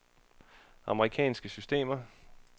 amerikansk system